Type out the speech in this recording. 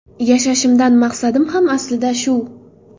Yashashimdan maqsadim ham aslida shu.